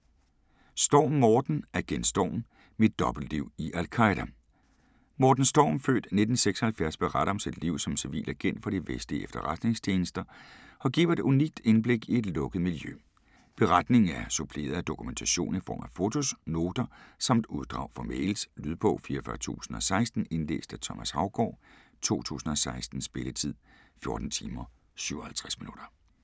Storm, Morten: Agent Storm: mit dobbeltliv i al-Qaida Morten Storm (f. 1976) beretter om sit liv som civil agent for de vestlige efterretningstjenester og giver et unikt indblik i et lukket miljø. Beretningen er suppleret af dokumentation i form af fotos, noter samt uddrag fra mails. Lydbog 44016 Indlæst af Thomas Haugaard, 2016. Spilletid: 14 timer, 57 minutter.